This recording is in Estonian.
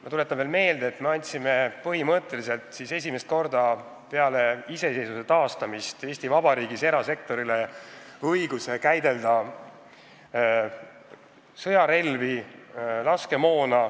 Ma tuletan veel meelde, et me andsime põhimõtteliselt esimest korda peale iseseisvuse taastamist Eesti Vabariigis erasektorile õiguse käidelda sõjarelvi ja laskemoona.